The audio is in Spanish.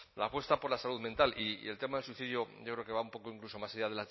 la apuesta por la salud mental y el tema de suicidio yo creo que va incluso un poco incluso más allá